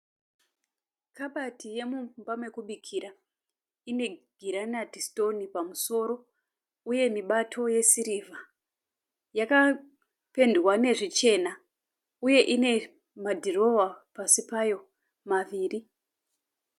Kabati yomumba mekubikira. Ine girenati sitoni pamusoro uye mibato yesirivha. Yakapendwa nezvichena uye ine madhirowa pasi payo maviri.